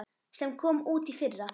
sem kom út í fyrra.